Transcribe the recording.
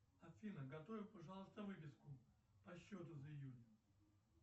афина готовь пожалуйста выписку по счету за июнь